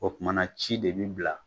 O kumana ci de bi bila